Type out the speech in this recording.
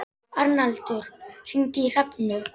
Arnaldur, hringdu í Hrefnu.